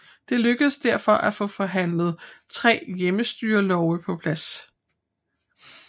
Det lykkedes derfor at få forhandlet tre hjemmestyrelove på plads